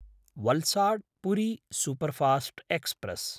वल्साड्–पुरी superfast express